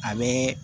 A be